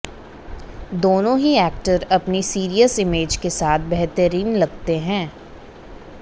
दोनों ही एक्टर अपनी सीरियस इमेज के साथ बेहतरीन लगते हैं